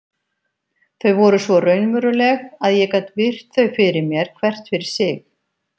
Þau voru svo raunveruleg að ég gat virt þau fyrir mér hvert fyrir sig.